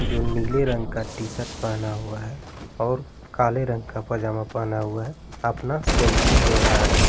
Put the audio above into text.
जो नीले रंग का टी-शर्ट पेहना हुआ है और काले रंग का पैजामा पेहना हुआ है अपना सेल्फी ले रहा है।